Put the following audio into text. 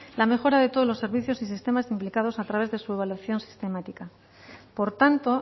la mejora de todos los servicios y sistemas implicados a través de su evaluación sistemática por tanto